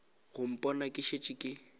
go mpona ke šetše ke